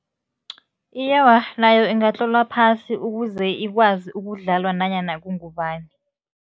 Iye, awa, nayo ingatlolwa phasi ukuze ikwazi ukudlalwa nanyana kungubani.